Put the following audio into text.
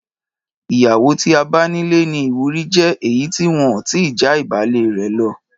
Ìyàwó tí a bá nílé ní ìwúrí ju èyí tí wọn ti já ìbálẹ́ rẹ lo